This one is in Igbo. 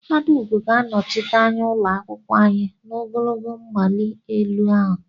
Adaugo ga-anọchite anya ụlọ akwụkwọ anyị n'ogologo mmali elu ahụ.